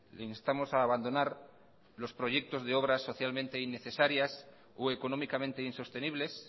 le instamos a abandonar los proyectos de obra socialmente innecesarios o económicamente insostenibles